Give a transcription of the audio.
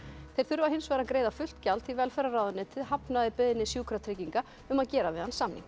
þeir þurfa hins vegar að greiða fullt gjald því velferðarráðuneytið hafnaði beiðni Sjúkratrygginga um að gera við hann samning